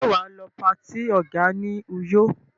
Ṣé wà á lọ patí ọ̀gá ní Uyo?